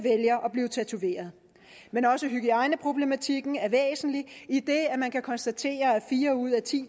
blive tatoveret men også hygiejneproblematikken er væsentlig idet man kan konstatere at fire ud af ti